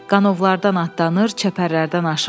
Qanovlardan atlanır, çəpərlərdən aşırdıq.